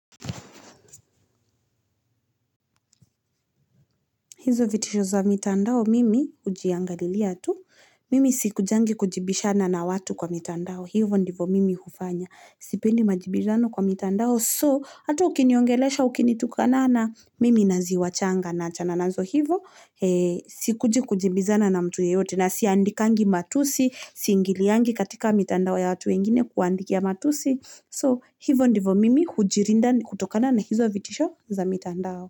Hizo vitisho za mitandao mimi hujiangalilia tu, mimi sikujangi kujibishana na watu kwa mitandao hivyo ndivyo mimi hufanya, sipendi majibishano kwa mitandao, so hata ukiniongelasha ukinitukanana, mimi naziwachanga, naachana nazo hivo. Sikuji kujibizana na mtu yeyote, na siandikangi matusi, siingiliangi katika mitandao ya watu wengine kuwaandikia matusi, so hivyo ndivyo mimi hujilinda kutokana na hizo vitisho za mitandao.